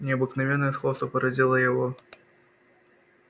необыкновенное сходство поразило его